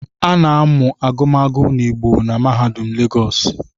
A na-amụ agụmagụ n’Igbo na mahaudum legos?